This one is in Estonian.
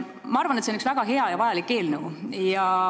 Ma arvan, et see on üks väga hea ja vajalik eelnõu.